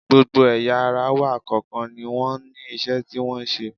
Gbogbo ẹ̀yà ara wa kọ̀ọ̀kan ni wọ́n ní iṣẹ́ tí wọ́n ń ṣe